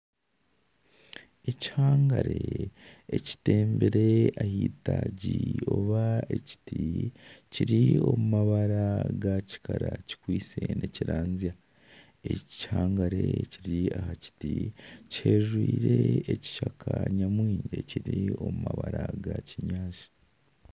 Ekihangare kitembire ah'eitagi ry'ekiti kiri omu mabara ga kikara kikwitse nikiranzya eki kihangare ekiri aha kiti kijwire ekishaka nyamwingi ekiri omu mabara gakinyaatsi